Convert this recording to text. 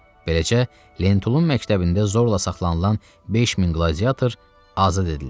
Beləcə, Lentulun məktəbində zorla saxlanılan 5000 qladiyator azad edildi.